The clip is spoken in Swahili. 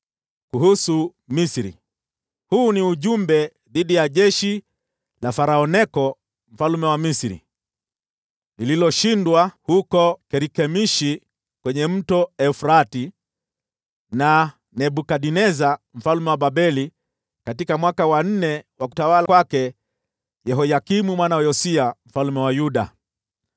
Kuhusu Misri: Huu ni ujumbe dhidi ya jeshi la Farao Neko mfalme wa Misri, lililoshindwa huko Karkemishi kwenye Mto Frati na Nebukadneza mfalme wa Babeli, katika mwaka wa nne wa utawala wa Yehoyakimu mwana wa Yosia mfalme wa Yuda: